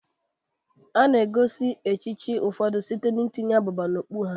A na-egosi echichi ụfọdụ site n'itinye abụba n'okpukpu ha.